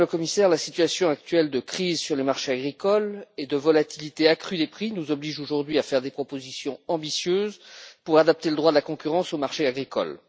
Madame la Commissaire, la situation actuelle de crise sur les marchés agricoles et de volatilité accrue des prix nous oblige aujourd'hui à faire des propositions ambitieuses pour adapter le droit de la concurrence au marché agricole.